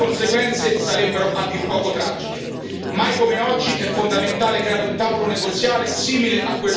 Mai come oggi è fondamentale creare un tavolo negoziale simile a quello con l'Iran, con l'Unione nelle vesti di mediatore.